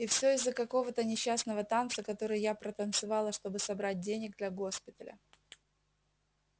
и всё из-за какого-то несчастного танца который я протанцевала чтобы собрать денег для госпиталя